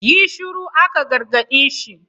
Yi shuru, aka gargaɗi shi!